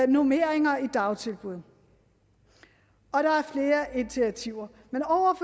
normeringer i dagtilbud og der er flere initiativer over